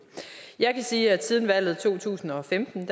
jeg kan sige at siden valget i to tusind og femten